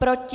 Proti?